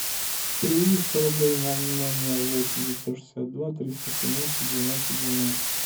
переведи сто рублей на номер восемь девятьсот шестьдесят два триста семнадцать двенадцать двенадцать